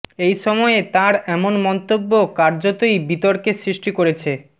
এই সময়ে তাঁর এমন মন্তব্য কার্যতই বিতর্কের সৃষ্টি করেছে